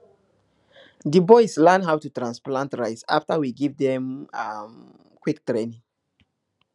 di boys learn how to transplant rice after we give them um quick training